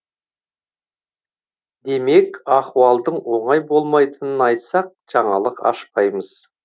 демек ахуалдың оңай болмайтынын айтсақ жаңалық ашпаймыз